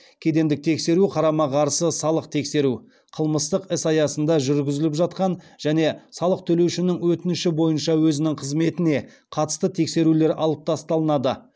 кедендік тексеру қарама қарсы салық тексеру қылмыстық іс аясында жүргізіліп жатқан және салық төлеушінің өтініші бойынша өзінің қызметіне қатысты тексерулер алып тасталынады